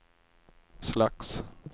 slags